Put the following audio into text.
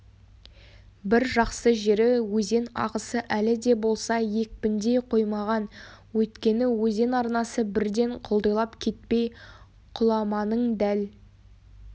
бір жақсы жері өзен ағысы әлі де болса екпіндей қоймаған өйткені өзен арнасы бірден құлдилап кетпей құламаның дәл